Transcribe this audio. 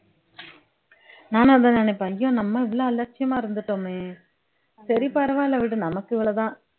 நானும் அதான் நினைப்பேன் ஐயோ நம்ம இவ்வளவு அலட்சியமா இருந்துட்டோமே சரி பரவால்ல விடு நமக்கு இவ்வளவுதான்